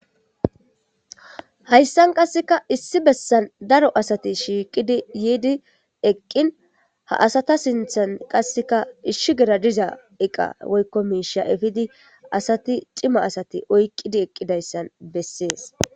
Hayssa nqasseka issi bessan daro asati shiiqidi yiidi eqqiin ha asata sinthen ishshigera diza eqa woyikko miishsha efidi cima asati oyqqi eqqidaysa bessees.